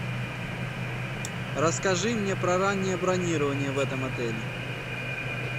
расскажи мне про раннее бронирование в этом отеле